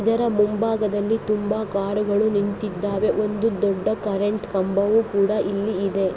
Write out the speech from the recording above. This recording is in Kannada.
ಇದರ ಮುಂಭಾಗದಲ್ಲಿ ತುಂಬಾ ಕಾರುಗಳು ನಿಂತಿದ್ದಾವೆ ಒಂದು ದೊಡ್ಡ ಕರೆಂಟ್ ಕಂಬವು ಕೂಡ ಇಲ್ಲಿ ಇದೆ.